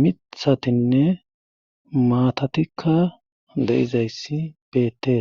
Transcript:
mithatinne maatatikka de7izayssi beettees.